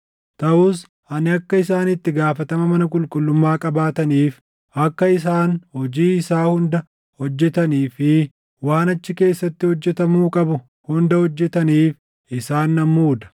Taʼus ani akka isaan itti gaafatama mana qulqullummaa qabaataniif, akka isaan hojii isaa hunda hojjetanii fi waan achi keessatti hojjetamuu qabu hunda hojjetaniif isaan nan muuda.